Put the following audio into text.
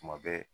Tuma bɛɛ